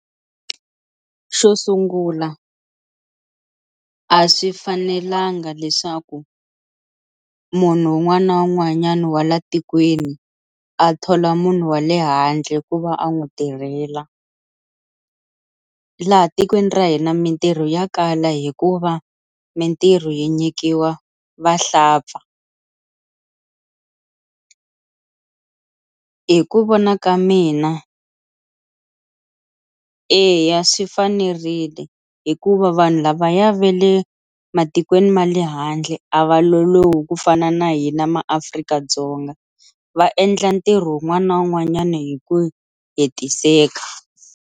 Xo sungula a swi fanelanga leswaku munhu un'wana na un'wanyana wa la tikweni a thola munhu wa le handle ku va a n'wi tirhela laha tikweni ra hina mintirho ya kala hikuva mintirho yi nyikiwa vahlampfa, hi ku vona ka mina eya swi fanerile hikuva vanhu lavaya ve le matikweni ma le handle a va lolohi ku fana na hina maAfrika-Dzonga, va endla ntirho wun'wana na wun'wanyana hi ku hetiseka.